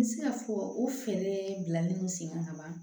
N bɛ se ka fɔ o fɛɛrɛ bilalen don sen kan ka ban